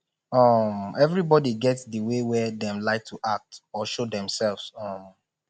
um everybody get the way wey dem like to act or show themselves um